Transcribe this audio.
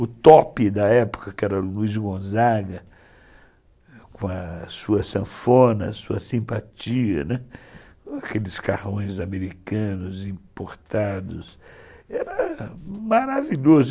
O top da época, que era o Luiz Gonzaga, com a sua sanfona, sua simpatia, né, aqueles carrões americanos importados, era maravilhoso.